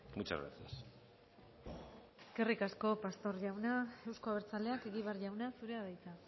muchas gracias eskerrik asko pastor jauna euzko abertzaleak egibar jauna zurea da hitza